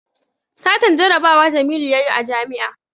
Satan jarabawa jamilu yayi a jami'a